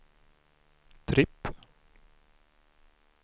tripp